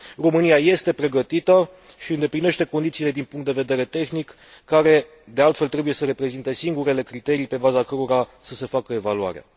România este pregătită și îndeplinește condițiile din punct de vedere tehnic, care de altfel trebuie să reprezinte singurele criterii pe baza cărora să se facă evaluarea.